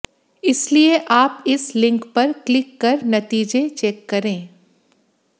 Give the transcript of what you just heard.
इसलिए आप इस लिंक पर क्लिक कर नतीजे चेक करें